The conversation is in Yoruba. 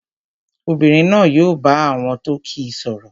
Obìnrin náà yóò bá àwọn tó kíi sọ̀rọ̀